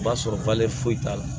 O b'a sɔrɔ foyi t'a la